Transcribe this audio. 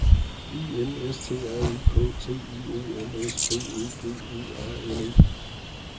I N S T R U K T I O N S B Ø G E R N E